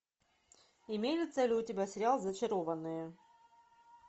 имеется ли у тебя сериал зачарованные